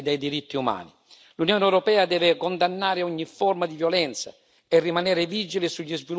L'Unione europea deve condannare ogni forma di violenza e rimanere vigile sugli sviluppi futuri dell'area.